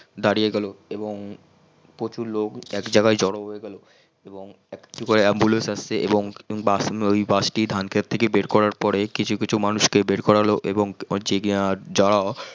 দারিয়ে গেল এবং প্রচুর লোক একজাগায় জর হয়ে গেল এবং একটি করে ambulance আসছে এবং অই বাস টি ধান খেত থেকে বের করার পরে কিছু কিছু মানুষ কে বের করা হল এবং যে দারিয়ে গেল